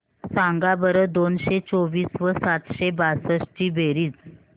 सांगा बरं दोनशे चोवीस व सातशे बासष्ट ची बेरीज